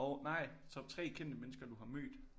Nej top 3 kendte mennesker du har mødt